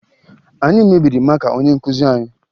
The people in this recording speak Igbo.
Anyị mebiri maka onye nkụzi anyị